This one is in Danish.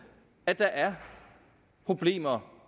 at der er problemer